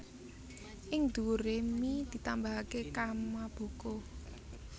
Ing dhuwure mi ditambahake kamaboko